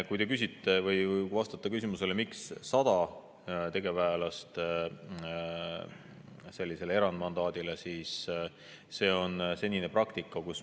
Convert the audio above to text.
Kui te soovite vastust küsimusele, miks on ette nähtud 100 tegevväelast selle erandmandaadi puhul, siis selline on olnud senine praktika.